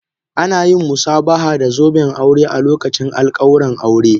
Ana yin musabaha da zoben aure a lokacin alƙawuran aure